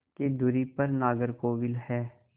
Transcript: की दूरी पर नागरकोविल है